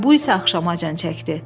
Bu isə axşamacan çəkdi.